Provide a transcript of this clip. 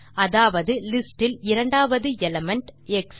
அதாவது லிஸ்ட் இல் இரண்டாம் எலிமெண்ட் எக்ஸ்